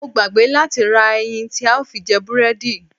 Mo gbàgbé láti ra ẹyin tí a ó fi jẹ búrẹ́dì.